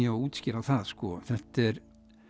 að útskýra það þetta er